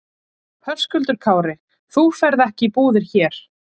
Höskuldur Kári: Þú ferð ekki í búðir hér?